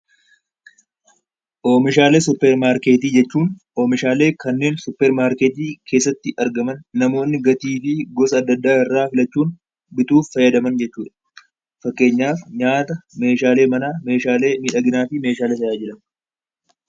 Oomishaalee suupermaarkeetii jechuun oomishaalee kanneen suupermaarkeetii argaman namoonni gatii fi gosa addaa addaa irraa filachuun bituuf fayyadan, fakkeenyaaf nyaata, Meeshaalee manaa, Meeshaalee miidhaginaa kan tajaajilan.